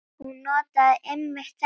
Hún notaði einmitt þetta orð.